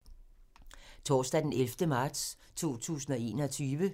Torsdag d. 11. marts 2021